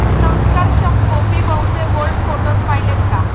संस्कारक्षम' गोपी बहूचे bold photos पाहिलेत का?